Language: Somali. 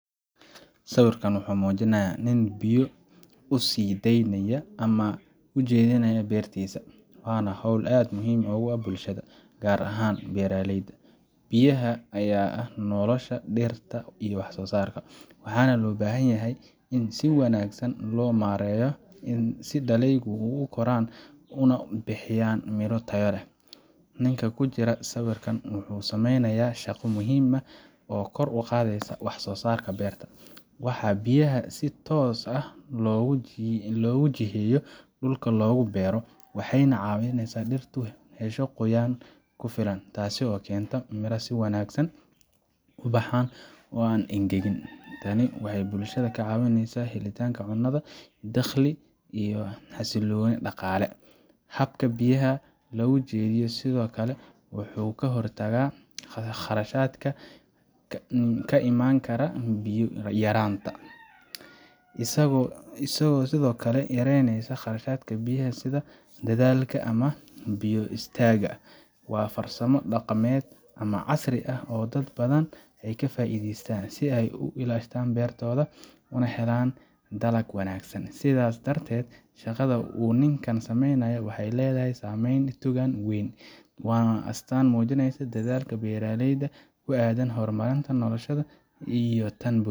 Sawirkan wuxuu muujinayaa nin biyo u sii daynaya ama u jiheynaya beertiisa, waana hawl aad muhiim ugu ah bulshada, gaar ahaan beeraleyda. Biyaha ayaa ah nolosha dhirta iyo wax soosaarka, waxaana loo baahan yahay in si wanaagsan loo maareeyo si dalagyadu u koraan una bixiyaan midho tayo leh. Ninka ku jira sawirka wuxuu sameynayaa shaqo muhiim ah oo kor u qaadaysa wax soosaarka beerta. Marka biyaha si toos ah loogu jiheeyo dhulka lagu beero, waxay caawiyaan in dhirtu hesho qoyaan ku filan, taasoo keenta in miraha si wanaagsan u baxaan oo aan u engegin. Tani waxay bulshada ka caawisaa helidda cunno, dakhli, iyo xasilooni dhaqaale. Habka biyaha loo jiheeyo sidoo kale wuxuu ka hortagaa khasaaraha ka iman kara biyo yaraanta, isagoo sidoo kale yareynaya khasaaraha biyaha sida daadadka ama biyo is taagga. Waa farsamo dhaqameed ama casri ah oo dad badan ka faa’iidaystaan si ay u ilaashadaan beertooda una helaan dalag wanaagsan. Sidaas darteed, shaqada uu ninkan sameynayo waxay leedahay saameyn togan oo weyn, waana astaan muujinaysa dadaalka beeraleyda ee ku aaddan horumarinta noloshooda iyo tan bulshada